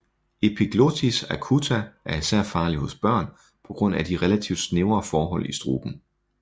Epiglottitis acuta er især farlig hos børn på grund af de relativt snævre forhold i struben